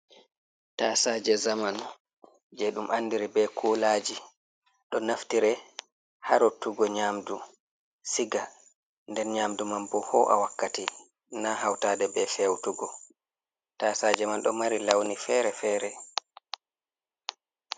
Tasaaje zamanu, jei ɗum andiri be kulaji ɗo naftire ha rottugo nyamdu siga, nden nyamdu man bo ho'a wakkati na hautaɗe be feutugo. Taasaje man ɗo mari launi fere-fere.